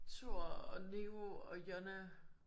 Thor og Niko og Jonna